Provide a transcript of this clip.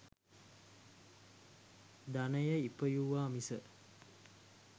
ධනය ඉපයුවා මිස